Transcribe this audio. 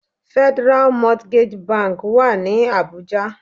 Federal Mortgage Bank Wà ní Abuja.